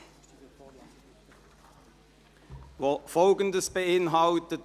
Wir fahren weiter mit der Ziffer 6, die Folgendes beinhaltet: